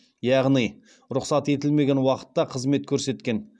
яғни рұқсат етілмеген уақытта қызмет көрсеткен